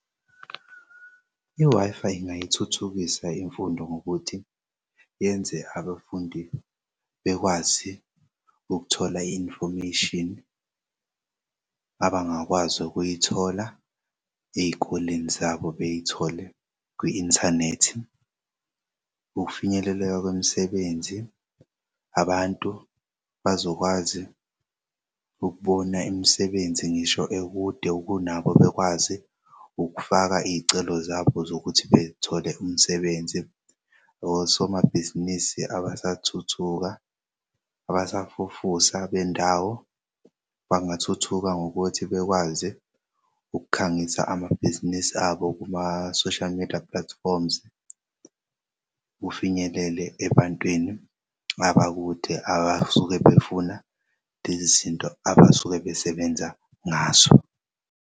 I-Wi-Fi ingayithuthukisa imfundo ngokuthi yenze abafundi bekwazi ukuthola i-information abangakwazi ukuyithola ey'koleni zabo, beyithole kwi-inthanethi. Ukufinyeleleka kwemsebenzi abantu bazokwazi ukubona imisebenzi ngisho ekude kunabo bekwazi ukufaka iy'celo zabo zokuthi bethole umsebenzi. Osomabhizinisi abasathuthuka, abasafufusa bendawo bangathuthuka ngokuthi bekwazi ukukhangisa amabhizinisi abo kuma-social media platforms, kufinyelele ebantwini abakude abasuke befuna lezi zinto abasuke besebenza ngazo.